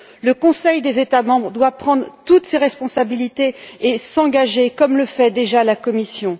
Le Conseil des États membres doit prendre toutes ses responsabilités et s'engager, comme le fait déjà la Commission.